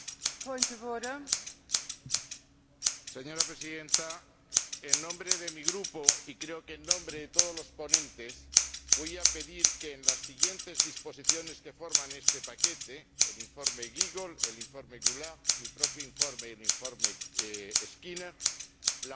Señora Presidenta, en nombre de mi grupo —y creo que en nombre de todos los ponentes—, voy a pedir que, en los siguientes informes que forman este paquete —el informe Giegold, el informe Goulard, mi propio informe y el informe Skinner—, la propuesta de la Comisión enmendada